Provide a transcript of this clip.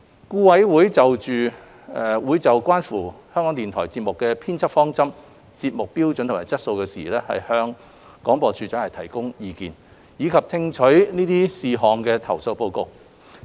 顧委會會就關乎港台節目編輯方針、節目標準及質素的事宜，向廣播處長提供意見，以及聽取這些事項的投訴報告。